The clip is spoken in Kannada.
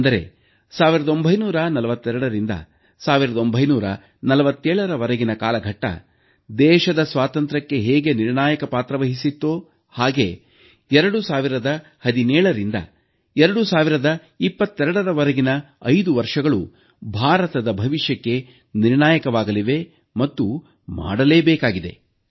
ಅಂದರೆ 1942ರಿಂದ 1947ರ ವರೆಗಿನ ಕಾಲಘಟ್ಟ ದೇಶದ ಸ್ವಾತಂತ್ರ್ಯಕ್ಕೆ ಹೇಗೆ ನಿರ್ಣಾಯಕ ಪಾತ್ರವಹಿಸಿತ್ತೋ ಹಾಗೆಯೇ 2017ರಿಂದ 2022ರ ವರೆಗಿನ 5 ವರ್ಷಗಳು ಭಾರತದ ಭವಿಷ್ಯಕ್ಕೆ ನಿರ್ಣಾಯಕವಾಗಲಿವೆ ಮತ್ತು ಮಾಡಲೇಬೇಕಾಗಿದೆ